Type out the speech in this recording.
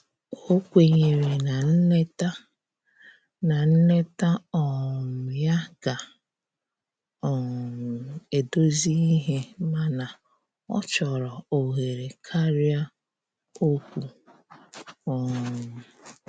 O kwenyere na nleta na nleta um ya ga um edozi ihe mana ọchọrọ ohere karịa okwụ um